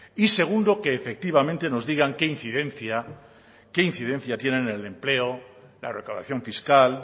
y segundo que efectivamente que nos digan qué incidencia tienen en el empleo en la recaudación fiscal